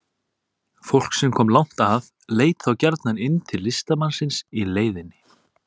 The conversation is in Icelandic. Fólk sem kom langt að leit þá gjarnan inn til listamannsins í leiðinni.